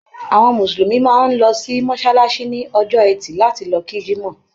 Àwọn Mùsùlùmí máa ń lọ sí mọ́ṣáláṣí ní Ọjọ́ẹtì láti lọ kí Jímọ̀.